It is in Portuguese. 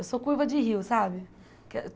Eu sou curva de rio, sabe?